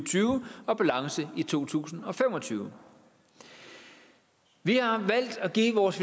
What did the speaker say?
tyve og balance i to tusind og fem og tyve vi har valgt at give vores